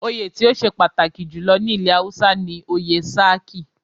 Oyè tí ó ṣe pàtàkì jù lọ ní ilẹ̀ Hausa ni oyè "Sarki".